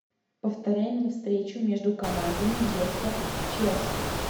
повторяй мне встречу между командами лестер челси